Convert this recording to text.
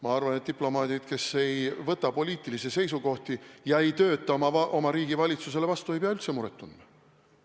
Ma arvan, et diplomaadid, kes ei võta poliitilisi seisukohti ega tööta oma riigi valitsusele vastu, ei pea üldse muret tundma.